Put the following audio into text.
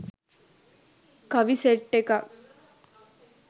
කවි සෙට් එකක්.